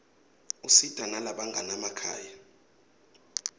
usita nalabanganamakhaya